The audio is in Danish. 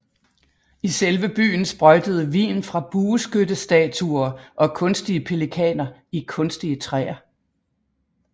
I selve byen sprøjtede vin fra bueskyttestatuer og kunstige pelikaner i kunstige træer